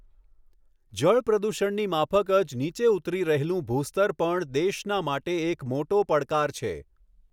જળ પ્રદૂષણની માફક જ નીચે ઉતરી રહેલું ભૂ સ્તર પણ દેશના માટે એક મોટો પડકાર છે.